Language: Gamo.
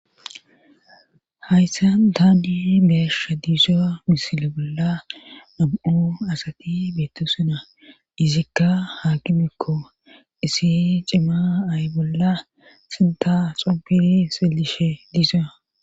hayssa daadi beessha diiso misile bolla am7o asati beetto suna izikka hakimekko isi cima ay bolla sinta xobiri silishe diisoa